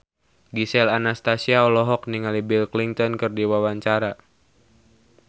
Gisel Anastasia olohok ningali Bill Clinton keur diwawancara